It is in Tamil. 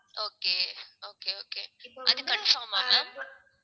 okay, okay, okay அது confirm ஆ ma'am